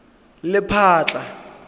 lephatla